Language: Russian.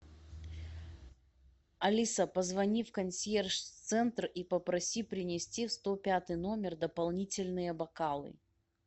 алиса позвони в консьерж центр и попроси принести в сто пятый номер дополнительные бокалы